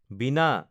বীণা